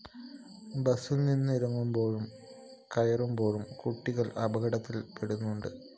ബസില്‍നിന്ന് ഇറങ്ങുമ്പോഴും കയറുമ്പോഴും കുട്ടികള്‍ അപകടത്തില്‍ പെടുന്നുണ്ട്